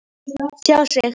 Tjá sig